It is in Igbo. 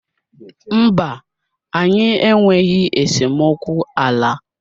Mba, anyị enweghị esemokwu ala.